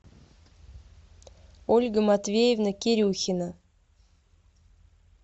ольга матвеевна кирюхина